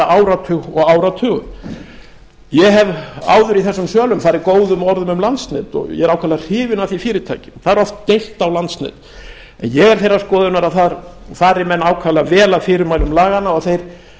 áratug og áratugum ég hef áður í þessum sölum farið góðum orðum um landsnet og ég er ákaflega hrifinn af því fyrirtæki það er oft deilt á landsnet en ég er þeirrar skoðunar að þar fari menn ákaflega vel að fyrirmælum laganna